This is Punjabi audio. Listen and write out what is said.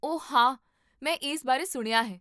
ਓ, ਹਾਂ, ਮੈਂ ਇਸ ਬਾਰੇ ਸੁਣਿਆ ਹੈ